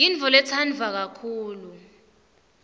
yintfoletsandwa kakhulu